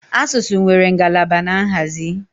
Asụsụ nwere ngalaba na nhazi